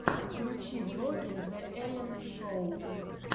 включи влоги зе эллен шоу